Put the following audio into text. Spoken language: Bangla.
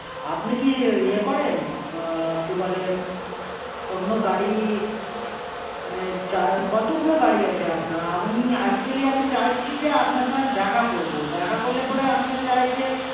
আপনি কি ইয়ে করেন? আহ কি বলে অন্য গাড়ি মানে কতগুলো গাড়ি আছে আপনার? আপনি actually আমি চাইছি যে আমি আপনার সঙ্গে দেখা করবো। দেখা করলে পরে আমিও চাইছি